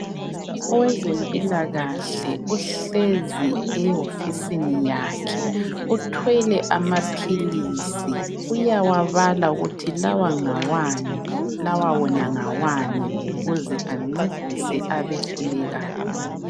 Owezempilakahle uhlezi ehofisini yakhe uthwele amaphilizi uyawabala ukuthi lawa ngawani lawa wona ngawani ukuze ancedise abehlulekayo